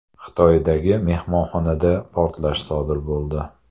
Xitoydagi mehmonxonada portlash sodir bo‘ldi.